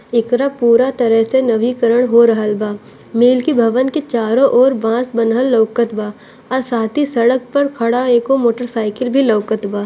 एकरा पूरा तरह से नवीकरण हो रहल बा मिल के भवन के चारों ओर बांस बंधल लोकत बा अ साथ ही सड़क पर खड़ा एगो मोटरसाइकिल भी लौकत बा।